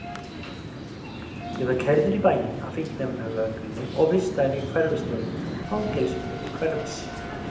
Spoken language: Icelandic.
Ég var keyrður í bæinn af fíkniefnalögreglunni og vistaður í Hverfisteininum, fangelsinu við Hverfis